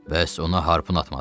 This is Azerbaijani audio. Bəs ona harpun atmadın?